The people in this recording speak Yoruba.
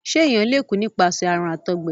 ṣe èyán lẹ kú nípasẹ àrùn àtọgbẹ?